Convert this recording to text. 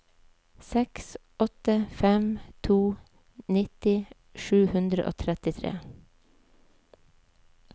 seks åtte fem to nitti sju hundre og trettitre